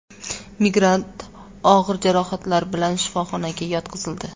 Migrant og‘ir jarohatlar bilan shifoxonaga yotqizildi.